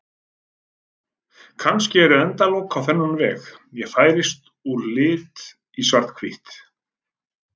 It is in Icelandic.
Kannski eru endalok á þennan veg: Ég færist úr lit í svarthvítt.